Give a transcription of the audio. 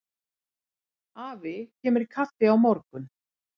Afi kemur í kaffi á morgun.